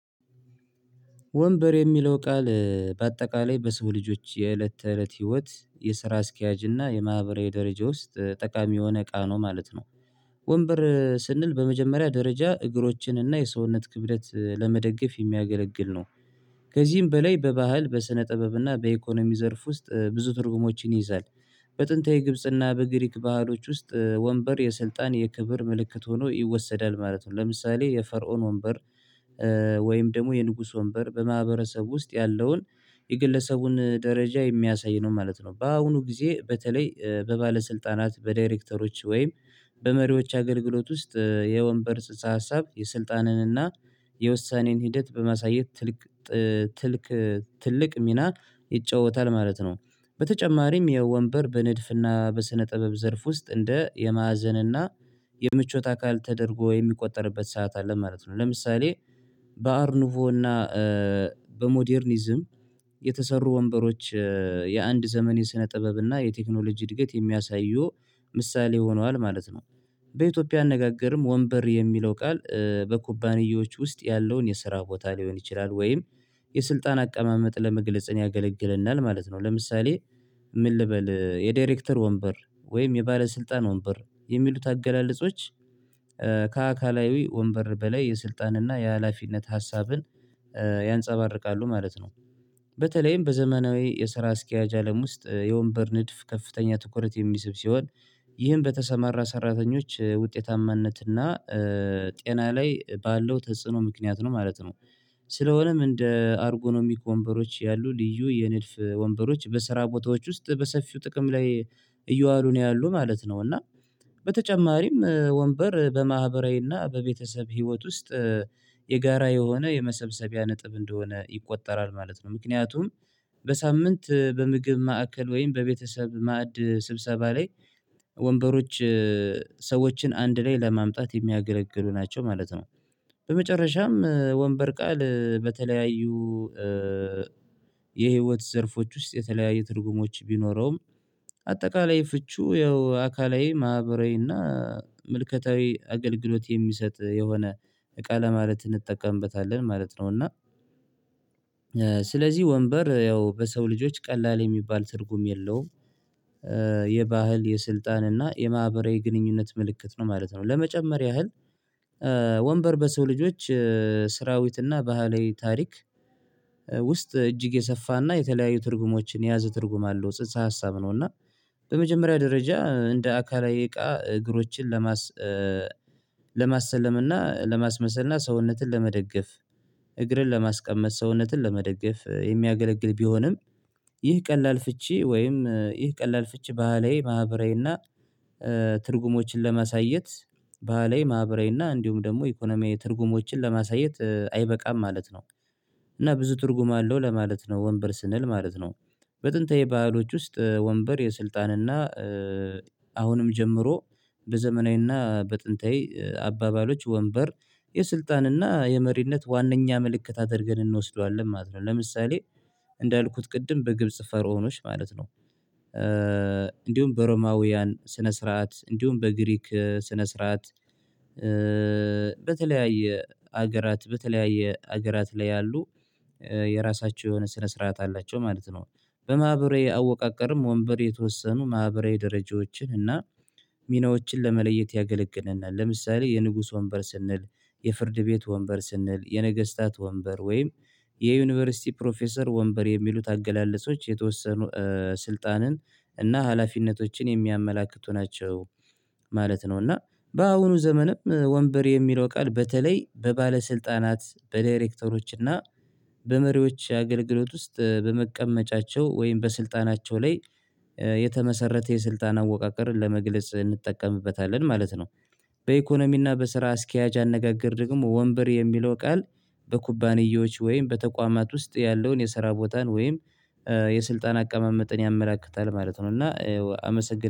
ወንበር የሚለው ቃል በአጠቃላይ በሰው ልጆች የእለት ተእለት ህይወት የስራ አስኪያጅ እና የማህበራዊ ደረጃ ውስጥ ጠቃሚ የሆነ እቃ ነው ማለት ነው። ወንበር ስንል በመጀመሪያ ደረጃ እግሮችን እና የሰውነት ክብደት ለመደገፍ ሚያገለግል ነው። ከዚህም በላይ በባህል በስነ ጥበብ እና በኢኮኖሚ ዘርፍ ውስጥ ብዙ ትርጉሞችን ይይዛል። በጥንታዊ ግብጽ እና በግሪክ ባህሎች ውስጥ ወንበር የስልጣን የክብር ምልክት ሆኖ ይወሰዳል ማለት ነው። ለምሳሌ የፈርዖን ወንበር ወይም ደግሞ የንጉስ ወንበር በማህበረሰብ ውስጥ ያለውን የግለሰቡን ደረጃ የሚያሳይ ነው ማለት ነው። በአሁኑ ጊዜ በተለይ በባለስልጣናት በዳይሬክተሮች ወይም በመሪዎች አገልግሎት ውስጥ የወንበር ጽንሰ ሀሳብ የስልጣንንና የውሳኔን ሂደት በማሳየት ትልቅ ትልቅ ትልቅ ሚና ይጫወታል ማለት ነው። በተጨማሪም የወንበር በንድፍና በስነ ጥበብ ዘርፍ ውስጥ እንደ የማዕዘንና የምቾት አካል ተደርጎ የሚቆጠርበት ሰዓት አለ ማለት ነው። ለምሳሌ በአርኑቮና በሞደርኒዝም የተሰሩ ወንበሮች የአንድ ዘመን የስነ ጥበብና የቴክኖሎጂ እድገት የሚያሳየው ምሳሌ ሆኗል ማለት ነው። በኢትዮጵያ አነጋገርም ወንበር የሚለው ቃል በኩባንያዎች ውስጥ ያለውን የስራ ቦታ ሊሆን ይችላል ወይም የስልጣን አቀማመጥ ለመግለጽ ያገለግለናል ማለት ነው። ለምሳሌ ምን ልበል የዳይሬክተር ወንበር ወይም የባለስልጣን ወንበር የሚሉት አገላለጾች ከአካላዊ ወንበር በላይ የስልጣንና የሀላፊነት ሀሳብን ያንፀባርቃሉ ማለት ነው። በተለይም በዘመናዊ የስራ አስኪያጅ አለም ውስጥ የወንበር ንድፍ ከፍተኛ ትኩረት የሚስብ ሲሆን ይህን በተሰማራ ሰራተኞች ውጤታማነት እና ጤና ላይ ባለው ተጽዕኖ ምክንያት ነው ማለት ነው። ስለሆነም እንደ አርጎኖሚክ ወንበሮች ያሉ ልዩ የንድፍ ወንበሮች በስራ ቦታዎች ውስጥ በሰፊው ጥቅም ላይ እየዋሉ ነው ያሉ ማለት ነው። እና በተጨማሪም ወንበር በማህበራዊና በቤተሰብ ህይወት ውስጥ የጋራ የሆነ የመሰብሰቢያ ነጥብ እንደሆነ ይቆጠራል ማለት ነው። ምክንያቱም በሳምንት በምግብ ማዕከል ወይም በቤተሰብ ማዕድ ስብሰባ ላይ ወንበሮች ሰዎችን አንድ ላይ ለማምጣት ሚያገለግሉ ናቸው ማለት ነው። በመጨረሻም ወንበር ቃል በተለያዩ የህይወት ዘርፎች ውስጥ የተለያየ ትርጉሞች ቢኖረውም አጠቃላይ ፍቺው ያው አካላዊ ማህበራዊና ምልከታዊ አገልግሎት የሚሰጥ የሆነ እቃ ለማለት እንጠቀምበታለን ማለት ነው። እና ስለዚህ ወንበር ያው በሰው ልጆች ቀላል የሚባል ትርጉም የለውም የባህል የስልጣን እና የማህበራዊ ግንኙነት ምልክት ነው ማለት ነው። ለመጨመር ያህል ወንበር በሰው ልጆች ስራዊትና ባህላዊ ታሪክ ውስጥ እጅግ የሰፋና የተለያዩ ትርጉሞችን የያዘ ትርጉም አለው ጽህፈ ሀሳብ ነው። እና በመጀመሪያ ደረጃ እንደ አካላዊ እቃ እግሮችን ለማስ ለማሰለም እና ለማስመሰል እና ሰውነትን ለመደገፍ እግርን ለማስቀመጥ ሰውነትን ለመደገፍ የሚያገለግል ቢሆንም ይህ ቀላል ፍቺ ወይም ይህ ቀላል ፍቺ ባህላዊ ማህበራዊና ትርጉሞችን ለማሳየት ባህላዊ ማህበራዊና እንዲሁም ደግሞ ኢኮኖሚ ትርጉሞችን ለማሳየት አይበቃም ማለት ነው። እና ብዙ ትርጉም አለው ለማለት ነው ወንበር ስንል ማለት ነው። በጥንታዊ ባህሎች ውስጥ ወንበር የስልጣንና አሁንም ጀምሮ በዘመናዊና በጥንታዊ አባባሎች ወንበር የስልጣንና የመሪነት ዋነኛ ምልክት አድርገን እንወስደዋለን ማለት ነው። ለምሳሌ እንዳልኩት ቅድም በግብጽ ፈርዖኖች ማለት ነው። እንዲሁም በሮማውያን ስነ ስርዓት እንዲሁም በግሪክ ስነ ስርዓት በተለያየ ሀገራት በተለያየ ሀገራት ላይ ያሉ የራሳቸው የሆነ ስነ ስርዓት አላቸው ማለት ነው። በማህበራዊ አወቃቀርም ወንበር የተወሰኑ ማህበራዊ ደረጃዎችን እና ሚናዎችን ለመለየት ያገለግለናል ለምሳሌ የንጉስ ወንበር ስንል የፍርድ ቤት ወንበር ስንል የነገስታት ወንበር ወይም የዩኒቨርሲቲ ፕሮፌሰር ወንበር የሚሉት አገላለጾች የተወሰኑ ስልጣንን እና ሀላፊነቶችን የሚያመላክቱ ናቸው ማለት ነው። እና በአሁኑ ዘመንም ወንበር የሚለው ቃል በተለይ በባለስልጣናት በዳይሬክተሮች እና በመሪዎች አገልግሎት ውስጥ በመቀመጫቸው ወይም በስልጣናቸው ላይ የተመሰረተ የስልጣን አወቃቀርን ለመግለጽ እንጠቀምበታለን ማለት ነው። በኢኮኖሚና በስራ አስኪያጅ አነጋገር ደግሞ ወንበር የሚለው ቃል በኩባንያዎች ወይም በተቋማት ውስጥ ያለውን የስራ ቦታን ወይም የስልጣን አቀማመጥን ያመላክታል ማለት ነው። እና አመሰግናለሁ